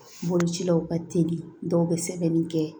Bolocilaw ka teli dɔw bɛ sɛbɛnni kɛ